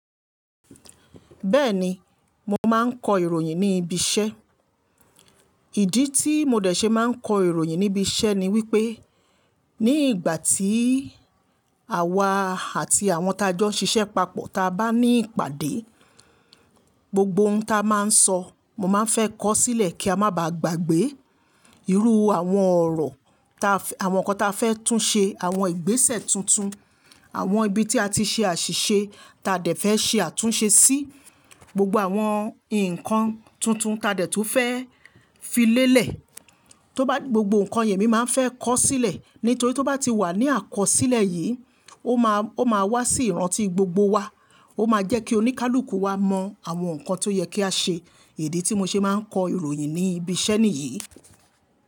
Bẹ́ẹ̀ni, mo máa ń kọ ìròyìn ní ibi iṣẹ́. Ìdí tí mo dẹ̀ ṣe máa ń kọ ìròyìn ní ibi iṣẹ́ ni wípé ní ìgbà tí àwa àti àwọn tajọ́ ṣiṣẹ́ papọ̀, ta bá ní ìpàdé, gbogbo ohun ta máa ń sọ, mo máa ń fẹ́ kọ sílẹ̀ kí a má bà gbàgbé. Irú àwọn ọ̀rọ̀, àwọn ǹkan ta fẹ́ tún ṣe, àwọn ìgbésẹ̀ tuntun, àwọn ibi tí a ti ṣe àṣìṣe ta dẹ̀ fẹ́ ṣe àtúnṣe sí, gbogbo àwọn ǹkan tuntun ta dẹ̀ tún fẹ́ fi lélẹ̀, gbogbo ǹkan yẹn emi máa ń fẹ́ kọ sílẹ̀. Nítorí tó bá ti wà ní àkọsílẹ̀ yìí, ó máa wá sí ìrántí gbogbo wa. Ó máa jẹ́ kí oníkálukú wa mọ àwọn ǹkan tó yẹ kí a ṣe. Ìdí tí mo ṣe máa ń kọ ìròyìn ní ibi iṣẹ́ nìyí.